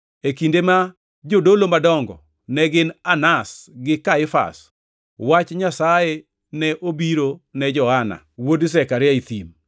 e kinde ma jodolo madongo ne gin Anas gi Kaifas, wach Nyasaye ne obiro ne Johana wuod Zekaria e thim.